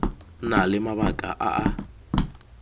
na le mabaka a a